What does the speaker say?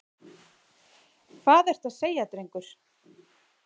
Hvað ertu að segja, drengur?